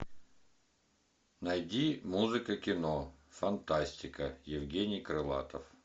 найди музыка кино фантастика евгений крылатов